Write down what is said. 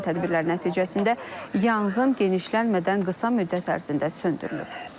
Görülən tədbirlər nəticəsində yanğın genişlənmədən qısa müddət ərzində söndürülüb.